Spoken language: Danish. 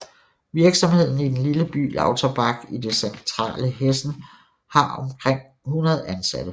Virksomheden i den lille by Lauterbach i det centrale Hessen og har omkring 100 ansatte